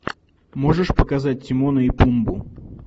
можешь показать тимона и пумбу